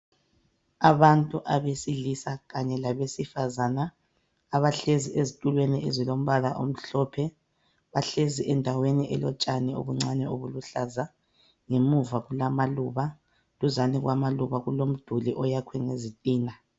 Abantu abesilisa Kanye labesifazana abahlezi ezitulweni ezilombala omhlophe bahlezi endaweni elotshani obuncane obuluhlaza ngemuva kulamaluba duzane kwamaluba kulomduli oyakwe ngezitina